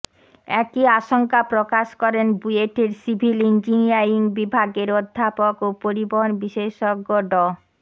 একই আশঙ্কা প্রকাশ করেন বুয়েটের সিভিল ইঞ্জিনিয়ারিং বিভাগের অধ্যাপক ও পরিবহন বিশেষজ্ঞ ড